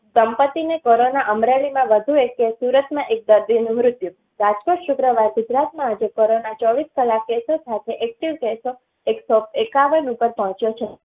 સંપત્તિ ને કોરોના અમરેલી માં વધુ એક case સુરતમાં એક દર્દી નું મૃત્યુ રાજકોટ, શુક્રવાર ગુજરાતમાં આજે કોરોના ચોવીસ કલાક case સો સાથે એક્ટિવ case સો એકસો એકાવન ઉપેર પોંહચીયો છે